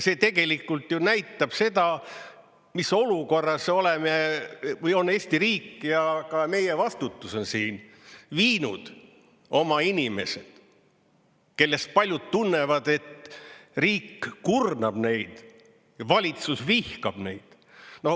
See tegelikult ju näitab seda, mis olukorras on Eesti riik, ja ka meie vastutus on siin viinud oma inimesed kellest paljud tunnevad, et riik kurnab neid ja valitsus vihkab neid.